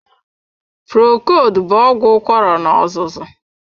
Procold bụ ọgwụ ụkwara na-azụzu.